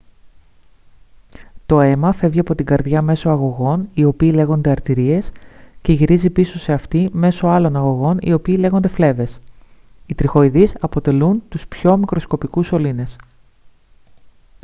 το αίμα φεύγει από την καρδιά μέσω αγωγών οι οποίοι λέγονται αρτηρίες και γυρίζει πίσω σε αυτήν μέσω άλλων αγωγών οι οποίοι λέγονται φλέβες οι τριχοειδείς αποτελούν τους πιο μικροσκοπικούς σωλήνες